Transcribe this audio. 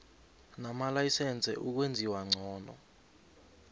namalayisense ukwenziwa ngcono